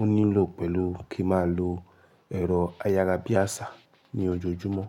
ó nílò pé lu kí mà lo ẹ̀rọ ayárabíàṣá ní ojoojúmọ́